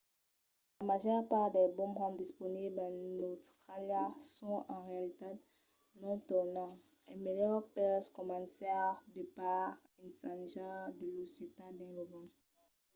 la màger part dels bomerangs disponibles en austràlia son en realitat non tornants. es melhor pels començaires de pas ensajar de los getar dins lo vent